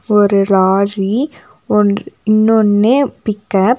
ஒரு லாரி ஒன்று இன்னொன்னு பிக்கப் .